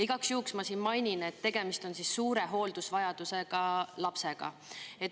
Igaks juhuks ma mainin, et tegemist on suure hooldusvajadusega lapsega.